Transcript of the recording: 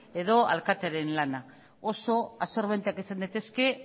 edo alkatearen lana oso absorbenteak izan daitezke